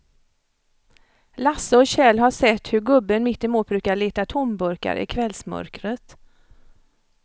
Lasse och Kjell har sett hur gubben mittemot brukar leta tomburkar i kvällsmörkret.